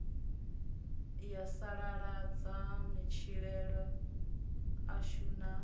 ya sasaladza matshilele ashu na